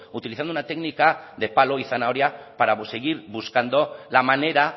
utilizando una técnica de palo y zanahoria para seguir buscando la manera